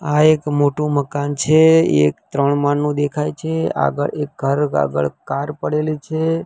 આ એક મોટુ મકાન છે એક ત્રણ માળનું દેખાય છે આગળ એક કાર આગળ કાર પડેલી છે.